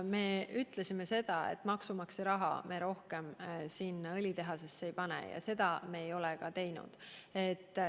Me ütlesime seda, et maksumaksja raha me rohkem sinna õlitehasesse ei pane, ja seda me ei olegi teinud.